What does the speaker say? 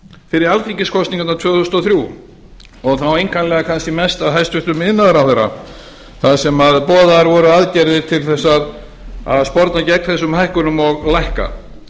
fyrir alþingiskosningarnar tvö þúsund og þrjú og þá einkanlega kannski mest af hæstvirtur iðnaðarráðherra þar sem boðaðar voru aðgerðir til þess að sporna gegn þessum hækkunum og lækka